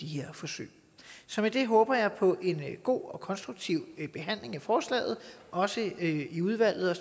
de her forsøg så med det håber jeg på en god og konstruktiv behandling af forslaget også i udvalget og